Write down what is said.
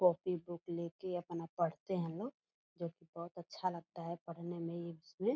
copy book लेके अपना पढ़ते हैं लोग जो कि बहुत अच्छा लगता है पढ़ने में ये उसमें --